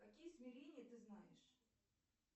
какие измерения ты знаешь